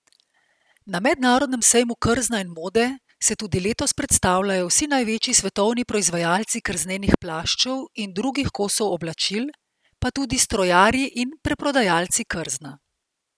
Na Mednarodnem sejmu krzna in mode se tudi letos predstavljajo vsi največji svetovni proizvajalci krznenih plaščev in drugih kosov oblačil, pa tudi strojarji in preprodajalci krzna.